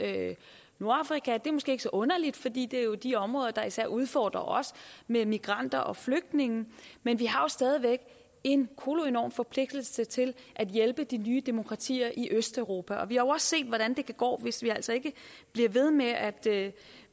nordafrika det er måske ikke så underligt fordi det jo er de områder der især udfordrer os med migranter og flygtninge men vi har stadig væk en koloenorm forpligtelse til at hjælpe de nye demokratier i østeuropa vi har også set hvordan det kan gå hvis vi altså ikke bliver ved med at